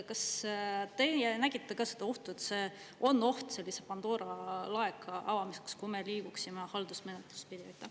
Kas teie nägite ka seda ohtu, et see on oht sellise Pandora laeka avamiseks, kui me liiguksime haldusmenetlust pidi?